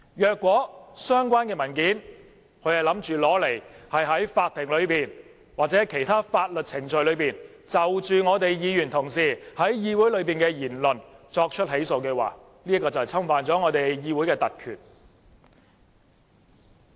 如果相關文件是在法庭內或其他法律程序中，就我們議員同事在議會內的言論作出起訴，這便侵犯了我們議會的特權。